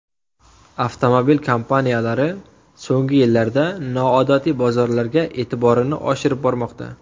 Avtomobil kompaniyalari so‘nggi yillarda noodatiy bozorlarga e’tiborini oshirib bormoqda.